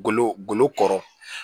Golo golo kɔrɔ